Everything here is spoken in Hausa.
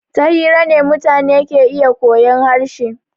Ta hira ne mutane ke iya koyan harshe.